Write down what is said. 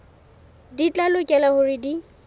di tla lokela hore di